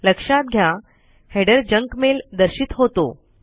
लक्षात घ्या header junk mail दर्शित होतो